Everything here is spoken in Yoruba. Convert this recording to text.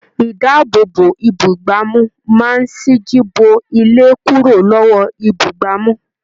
Idaabobo ibugbamu máa n siji bo ilé kúrò lọwọ ibugbamu.